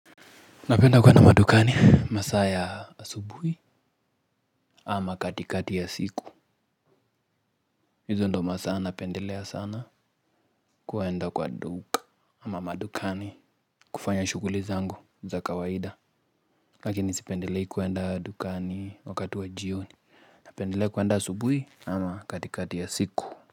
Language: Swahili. Napenda kuenda madukani masaa ya asubuhi ama katikati ya siku. Hizo ndio masaa napendelea sana kuenda kwa duka ama madukani kufanya shughuli zangu za kawaida. Lakini sipendelei kuenda dukani wakati wa jioni. Napendelea kuenda asubuhi ama katikati ya siku.